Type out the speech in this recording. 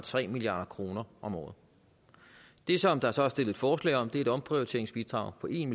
tre milliard kroner om året det som der så er stillet forslag om er et omprioriteringsbidrag på en